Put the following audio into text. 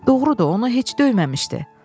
Doğrudur, onu heç döyməmişdi.